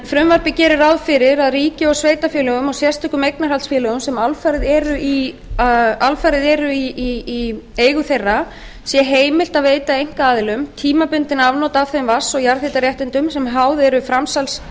frumvarpið gerir ráð fyrir að ríki sveitarfélögum og sérstökum eignarhaldsfélögum sem alfarið eru í þeirra eigu sé heimilt að veita einkaaðilum tímabundin afnot af þeim vatns og jarðhitaréttindum sem háð eru